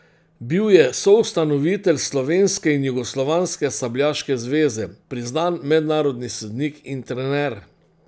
Bil je soustanovitelj slovenske in jugoslovanske sabljaške zveze, priznan mednarodni sodnik in trener.